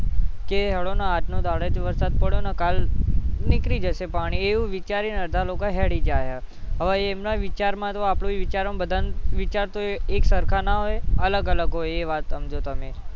કે હાલોને આજનો દહાડો જ વરસાદ પડ્યો ને કાલ નીકળી જશે પાણી એવું વિચારીને અડધા લોકો હેળી જાહે હવે એમના વિચારમાં તો આપણું વિચાર બધાના વિચાર તો એકસરખા ના હોય અલગ અલગ હોય એ વાત ક્વ છું તમને